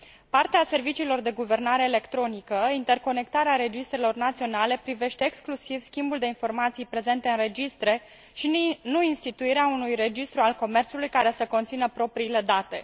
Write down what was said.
Parte a serviciilor de guvernare electronică, interconectarea registrelor naționale privește exclusiv schimbul de informații prezente în registre, și nu instituirea unui registru al comerțului care să conțină propriile date.